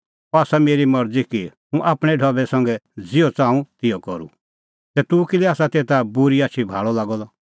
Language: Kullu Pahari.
अह आसा मेरी मरज़ी कि हुंह आपणैं ढबै संघै ज़िहअ च़ाहूं तिहअ करूं ज़ै हुंह भलअ आसा तै तूह किल्है आसा तेता बूरी आछी भाल़अ लागअ द